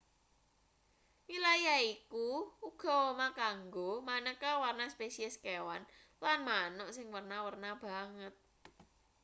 wilayahe iku uga omah kanggo maneka warna spesies kewan lan manuk.sing werna-werna banget